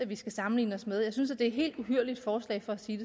vi skal sammenligne os med jeg synes det er et helt uhyrligt forslag for at sige